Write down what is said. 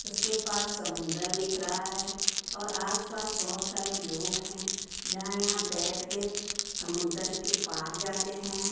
उसके पास समुन्दर दिख रहा है और आसपास बहोत सारे लोग हैं जहां यहां बैठ के समुदर के पार जाते हैं।